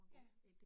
Ja